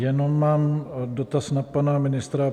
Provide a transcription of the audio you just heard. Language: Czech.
Jenom mám dotaz na pana ministra.